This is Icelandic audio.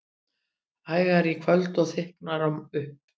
Hægari í kvöld og þykknar upp